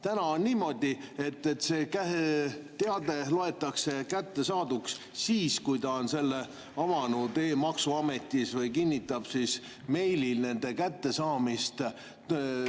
Täna on niimoodi, et see teade loetakse kättesaaduks siis, kui ta on selle avanud e‑maksuametis või kinnitab meilis kättesaamist.